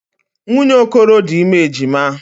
Nwunye Okoro dị ime ejima.